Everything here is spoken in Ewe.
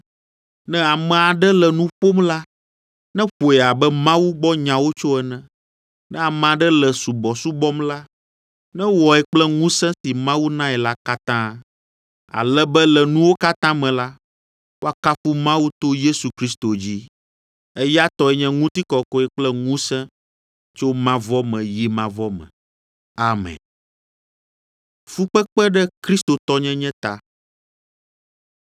Ne ame aɖe le nu ƒom la, neƒoe abe Mawu gbɔ nyawo tso ene. Ne ame aɖe le subɔsubɔm la, newɔe kple ŋusẽ si Mawu nae la katã, ale be le nuwo katã me la, woakafu Mawu to Yesu Kristo dzi. Eya tɔe nye ŋutikɔkɔe kple ŋusẽ tso mavɔ me yi mavɔ me. Amen.